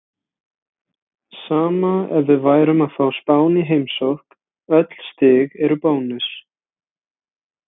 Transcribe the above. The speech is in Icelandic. Sama ef við værum að fá Spán í heimsókn, öll stig eru bónus.